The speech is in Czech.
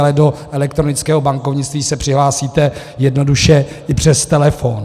Ale do elektronického bankovnictví se přihlásíte jednoduše i přes telefon.